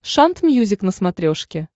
шант мьюзик на смотрешке